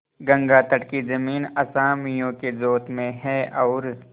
गंगातट की जमीन असामियों के जोत में है और